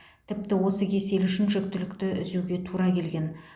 тіпті осы кеселі үшін жүктілікті үзуге тура келген